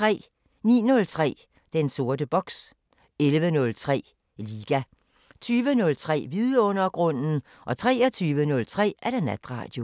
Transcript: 09:03: Den sorte boks 11:03: Liga 20:03: Vidundergrunden 23:03: Natradio